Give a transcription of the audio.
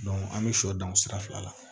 an bɛ sɔ dan o sira fila la